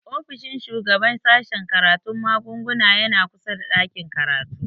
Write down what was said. Ofishin shugaban sashen karatun magunguna yana kusa da ɗakin karatu